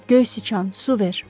Göy sıçan, su ver.